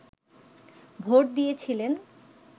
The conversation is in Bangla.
ভোট দিয়েছিলেন